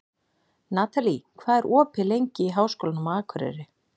Natalie, hvað er opið lengi í Háskólanum á Akureyri?